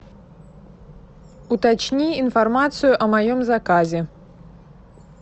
уточни информацию о моем заказе